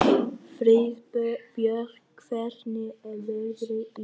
Friðbjörg, hvernig er veðrið í dag?